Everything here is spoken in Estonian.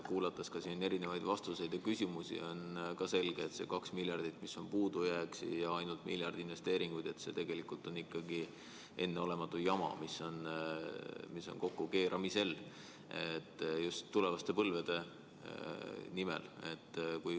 Kuulates siin erinevaid vastuseid ja küsimusi, on ka selge, et see 2 miljardit, mis on puudujääk, ja ainult miljard investeeringuid, on tegelikult enneolematu jama, mis on kokkukeeramisel just tulevaste põlvede jaoks.